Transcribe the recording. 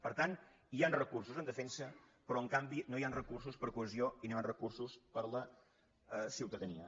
per tant hi han recursos en defensa però en canvi no hi han recursos per a cohesió i no hi han re·cursos per a la ciutadania